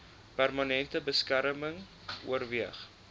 permanente beskerming oorweeg